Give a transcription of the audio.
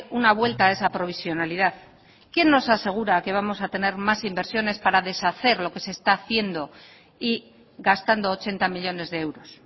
una vuelta a esa provisionalidad quién nos asegura que vamos a tener más inversiones para deshacer lo que se está haciendo y gastando ochenta millónes de euros